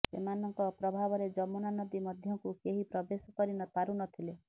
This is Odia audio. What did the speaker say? ସେମାନଙ୍କ ପ୍ରଭାବରେ ଯମୁନା ନଦୀ ମଧ୍ୟକୁ କେହି ପ୍ରବେଶ କରି ପାରୁ ନଥିଲେ